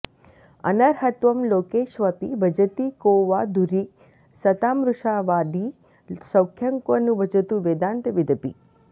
अनर्हत्वं लोकेष्वपि भजति को वा धुरि सतां मृषावादी सौख्यं क्व नु भजतु वेदान्तविदपि